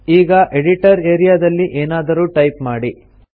ಈಗ editor area ದಲ್ಲಿ ಏನಾದರೂ ಟೈಪ್ ಮಾಡಿ